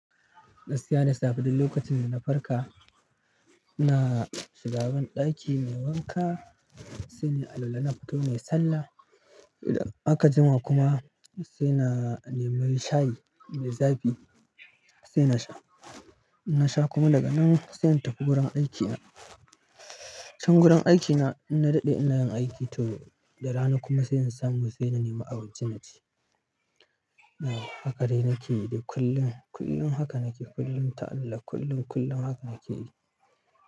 Gaskiya da safe duk lokacin da na farka, ina shiga banɗaki nayi wanka sai na alwala na fito nayi sallah. Idan aka jima kuma sai na nemi shayi mai zafi sai na sha. Na sha kuma daga nan sai na tafi wurin aikina. Can gurin aikina inna daɗe ina yin aiki to da rana kuma sai in samu sai na nema abinci naci. Haka dai nake yi kullum, kullum haka nake kullum ta Allah kullum, kullum haka nake yi.